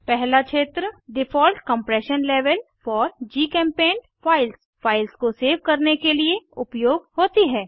पहला क्षेत्र default compression level four GChemPaint files files को सेव करने के लिए उपयोग होती है